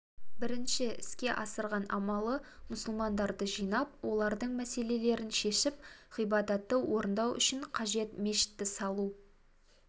бірінші іске асырған амалы мұсылмандарды жинап олардың мәселелерін шешіп ғибадатты орындау үшін қажет мешітті салу